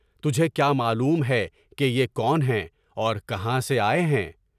تجھے کیا معلوم ہے کہ یہ کون ہیں اور کہاں سے آئے ہیں؟